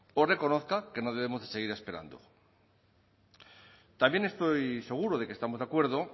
o reconozca que no debemos de seguir esperando también estoy seguro de que estamos de acuerdo